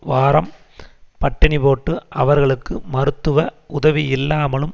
வாரம் பட்டினிபோட்டு அவர்களுக்கு மருத்துவ உதவியில்லாமலும்